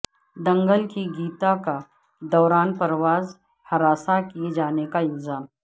دنگل کی گیتا کا دوران پرواز ہراساں کیے جانے کا الزام